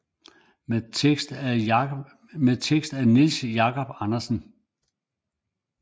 Med tekst af Niels Jacob Andersen